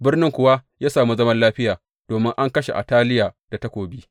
Birnin kuwa ya samu zaman lafiya domin an kashe Ataliya da takobi.